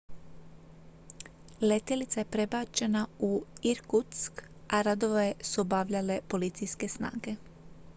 letjelica je prebačena u irkutsk a radove su obavljale policijske snage